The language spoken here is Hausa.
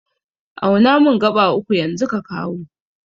Auna mun gaɓa uku yanzu ka kawo